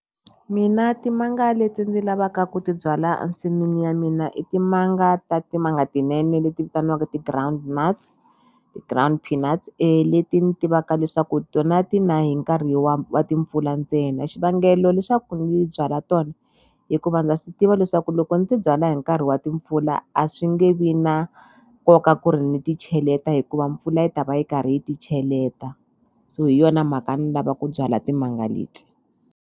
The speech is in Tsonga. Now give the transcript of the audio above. Mina timanga leti ndzi lavaka ku ti byala a nsin'wini ya mina i timanga ta timanga tinene leti vitaniwaka ti-ground nuts ti-ground peanuts leti ni tivaka leswaku tona ti na hi nkarhi wa wa timpfula ntsena xivangelo leswaku ni byala tona i ku va na swi tiva leswaku loko ndzi byala hi nkarhi wa timpfula a swi nge vi na nkoka ku ri ni ti cheleta hikuva mpfula yi ta va yi karhi yi ti cheleta so hi yona mhaka ni lava ku byala timanga leti.